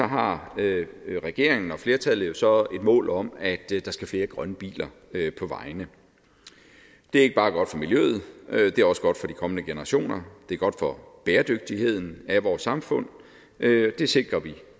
har regeringen og flertallet jo så et mål om at der skal flere grønne biler på vejene det er ikke bare godt for miljøet det er også godt for de kommende generationer det er godt for bæredygtigheden af vores samfund det sikrer vi